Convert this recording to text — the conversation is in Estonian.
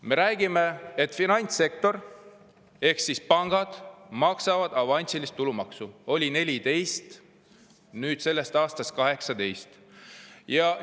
Me räägime, et finantssektor ehk pangad maksavad avansilist tulumaksu, mis oli 14% ja sellest aastast on 18%.